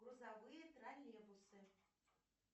грузовые троллейбусы